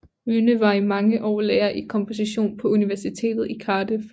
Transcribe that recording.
Wynne var i mange år lærer i komposition på Universitetet i Cardiff